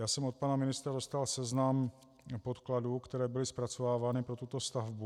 Já jsem od pana ministra dostal seznam podkladů, které byly zpracovávány pro tuto stavbu.